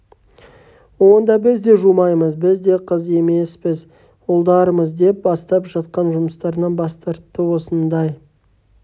онда біз де жумаймыз біз де қыз емеспіз ұлдармыз деп бастап жатқан жұмыстарынан бас тартты осындай